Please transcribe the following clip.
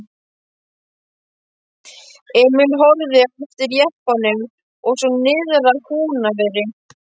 Emil horfði á eftir jeppanum og svo niðrað Húnaveri.